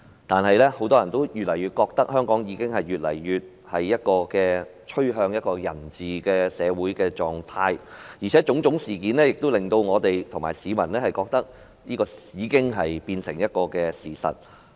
但是，很多人越來越覺得，香港越來越趨向人治的社會狀態，而且種種事件亦令我們和市民認為這已變成事實。